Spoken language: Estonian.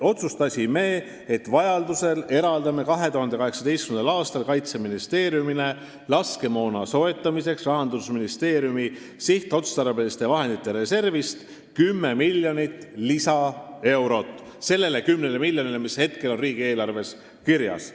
Otsustasime, et kui vaja, siis eraldame 2018. aastal Kaitseministeeriumile laskemoona soetamiseks Rahandusministeeriumi sihtotstarbeliste vahendite reservist 10 miljonit eurot lisaks sellele 10 miljonile, mis on riigieelarves kirjas.